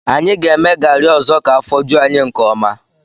Anyị ga-eme garị ọzọ ka afọ ju anyị nke ọma